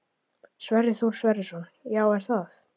Sverrir Þór Sverrisson: Já, er það?